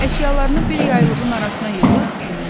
Əşyalarını bir yaylığın arasına yığıb düyünlədi.